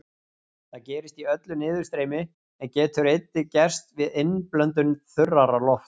Það gerist í öllu niðurstreymi, en getur einnig gerst við innblöndun þurrara lofts.